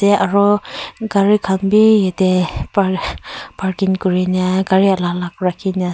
aro gari khan bi yatey par parking kurine gari ala alak rakhine--